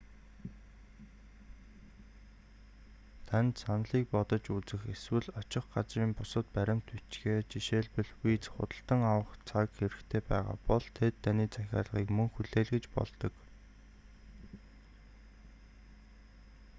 танд саналыг бодож үзэх эсвэл очих газрын бусад баримт бичгээ жишээлбэл виз худалдан авах цаг хэрэгтэй байгаа бол тэд таны захиалгыг мөн хүлээлгэж болдог